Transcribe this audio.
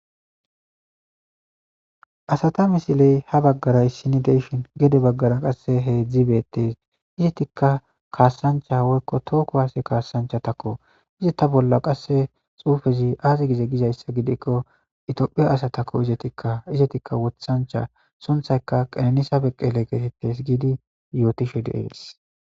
Asata misiley ha baggaray sinideshin gede baggara qasse heedzdzibeettees izetikka kaassancha woykko tooko haase kaassanchatakko izi ta bolla qasse xuufezi aazi gize gizayssa gidikko itophiya asatakko izetikka izetikka wothancha sunthayka qelnisa beqqele geetettes giidi yootishe deees.